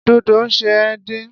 Dodo ṣe é dín.